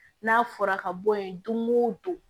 N'a fɔra ka bɔ yen don go don